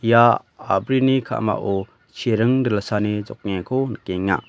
ia a·brini ka·mao chiring dilani jokengako nikenga.